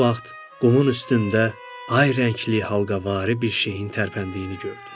Elə bu vaxt qumun üstündə ay rəngli, halqavari bir şeyin tərpəndiyini gördü.